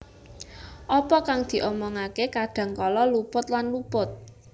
Apa kang diomongke kadang kala luput lan luput